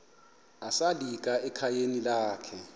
esalika ekhayeni lakhe